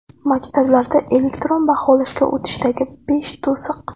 Maktablarda elektron baholashga o‘tishdagi besh to‘siq.